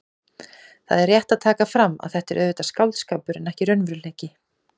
Það er rétt að taka fram að þetta er auðvitað skáldskapur en ekki raunveruleiki.